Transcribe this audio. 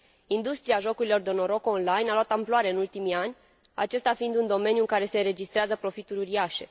Industria jocurilor de noroc on line a luat amploare în ultimii ani, acesta fiind un domeniu în care se înregistrează profituri uriașe.